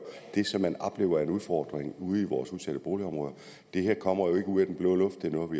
det som man oplever er en udfordring ude i vores udsatte boligområder det her kommer jo ikke ud af den blå luft det er noget